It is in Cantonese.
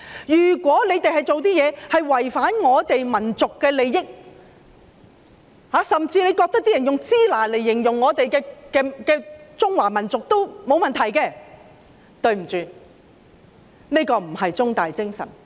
如果他們做的事是違反我們民族的利益，甚至他們認為有人以"支那"來形容中華民族也沒有問題的話，對不起，這個不是"中大精神"。